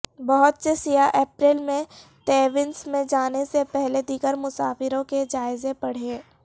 بہت سے سیاح اپریل میں تیونس میں جانے سے پہلے دیگر مسافروں کے جائزے پڑھیں